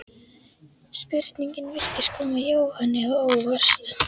Spurningin virtist koma Jóhanni á óvart.